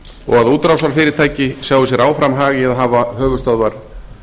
og að útrásarfyrirtæki sjái sér áfram hag í að hafa höfuðstöðvar